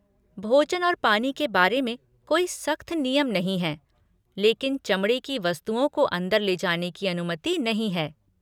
भोजन और पानी के बारे में कोई सख्त नियम नहीं हैं लेकिन चमड़े की वस्तुओं को अंदर ले जाने की अनुमति नहीं है।